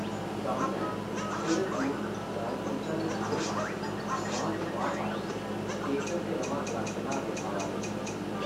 सामनै थोह्ड़े दूरा दा सिड़का दे दूए पास्सै बांह् च बांह् पाए दे केशव ते रमा गड़ाके मारदे आवा दे हे ।